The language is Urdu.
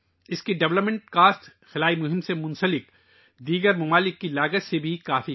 اس کو بنانے کی لاگت خلائی مشنوں میں شامل دیگر ممالک کے خرچ سے بہت کم ہے